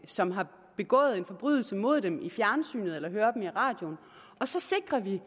som har begået en forbrydelse mod dem i fjernsynet eller høre vedkommende i radioen og så sikrer vi